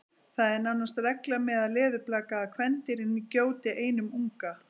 það er nánast regla meðal leðurblaka að kvendýrin gjóti einum unga